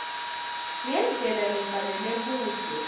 ngendlela lefanele budze